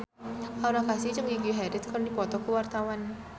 Aura Kasih jeung Gigi Hadid keur dipoto ku wartawan